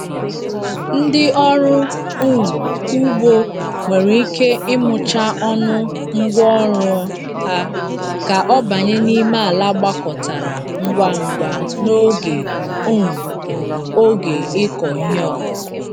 Ndị ọrụ um ugbo nwere ike ịmụcha ọnụ ngwa ọrụ a ka ọ banye n'ime ala gbakọtara ngwa ngwa n'oge um oge ịkọ ihe ọkụkụ.